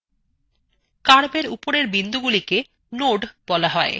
curve এর উপরের বিন্দুগুলিকে nodes বলা হয়